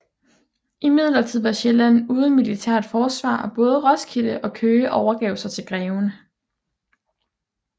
Imidlertid var Sjælland uden militært forsvar og både Roskilde og Køge overgav sig til greven